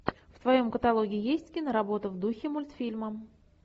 в твоем каталоге есть киноработы в духе мультфильмы